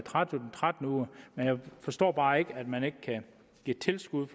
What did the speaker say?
tretten uger men jeg forstår bare ikke at man ikke kan give tilskud